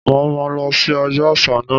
Mo máa lọ sí ọjọ́ àṣà náà.